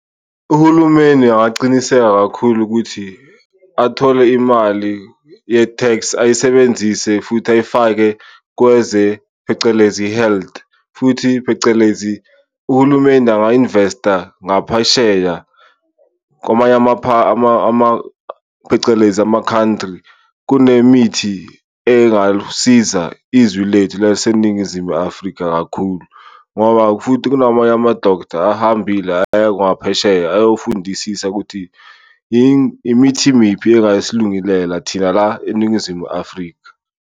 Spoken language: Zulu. Uhulumeni angacinisekisa kakhulu ukuthi athole imali ye-tax ayisebenzise futhi ayifake kweze phecelezi health, futhi phecelezi uhulumeni anga-investeer ngaphesheya kwamanye phecelezi ama-country. Kunemithi engalusiza izwi lethu laseNingizimu Afrika kakhulu, ngoba ngoba futhi kunamanye ama-doctor ahambile ayangaphesheya ayofundisisa ukuthi imithi miphi engasilungilela thina la eNingizimu Afrika.